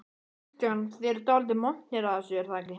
Kristján: Þið eruð dálítið montnir af þessu er það ekki?